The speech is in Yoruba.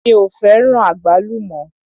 Mi ò fẹ́ràn àgbálùmọ́.